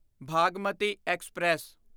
Bhagmati express